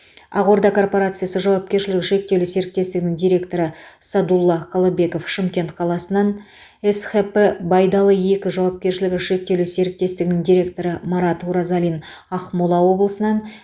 ақ орда корпорациясы жауапкершілігі шектеулі серіктестігінің директоры садулла қалыбеков шымкент қаласынан схп байдалы екі жауапкершілігі шектеулі серіктестігінің директоры марат уразалин ақмола облысынан